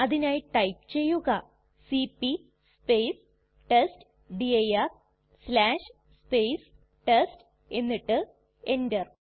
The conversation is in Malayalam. അതിനായി ടൈപ്പ് ചെയ്യുക സിപി ടെസ്റ്റ്ഡിർ ടെസ്റ്റ് എന്നിട്ട് എന്റർ